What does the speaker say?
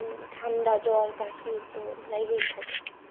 উম ঠান্ডা জ্বর কাশি তো লেগেই থাকে।